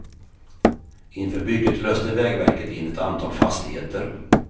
Inför bygget löste vägverket in ett antal fastigheter.